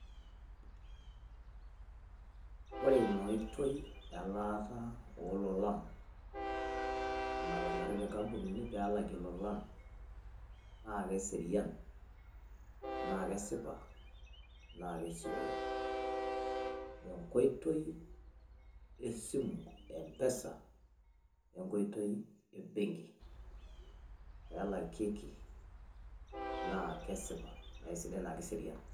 oore ina oitoi elaata oololan. natonyoraitie nkampunini pee elakie lolan, naa kesipa naa kesiooyo. enkoitoi esimu empesa we nkoitoi ebenki. naa kesipa naa kisidai naa keserian.